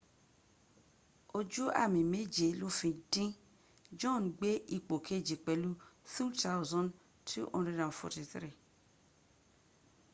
ojú àmì méje ló fi dín john gbé ipò kejì pẹ̀lú 2,243